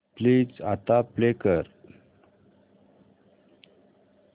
please आता play कर